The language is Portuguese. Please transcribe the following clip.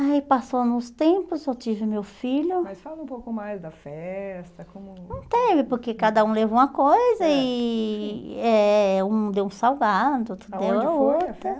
Aí passou uns tempos, eu tive meu filho... Mas fala um pouco mais da festa, como... Não teve, porque cada um levou uma coisa e eh um deu um salgado, outro deu a outra... Aonde foi a festa?